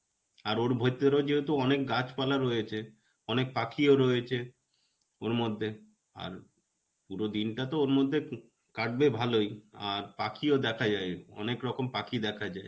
আর ওর ভিতরে যেহেতু অনেক গাছপালা রয়েছে, অনেক পাখিও রয়েছে ওরমধ্যে আর পুরো দিনটা তো ওরমধ্যে কাটবে ভালোই, আর পাখিও দেখা যায় অনেকরকম পাখি দেখা যায়.